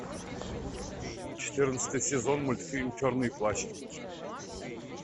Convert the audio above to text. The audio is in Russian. четырнадцатый сезон мультфильм черный плащ